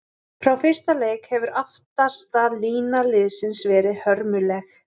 Frá fyrsta leik hefur aftasta lína liðsins verið hörmuleg.